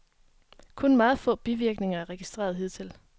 Kun meget få bivirkninger er registreret hidtil.